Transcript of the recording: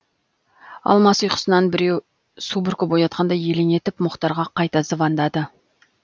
алмас ұйқысынан біреу су бүркіп оятқандай елең етіп мұхтарға қайта звондады